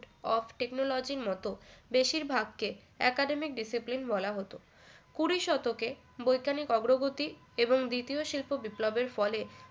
of technology র মত বেশিরভাগকে academic discipline বলা হতো কুড়ি শতকে বৈজ্ঞানিক অগ্রগতি এবং দ্বিতীয় শিল্প বিপ্লবের ফলে